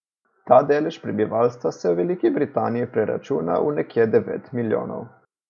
Ta delež prebivalstva se v Veliki Britaniji preračuna v nekje devet milijonov.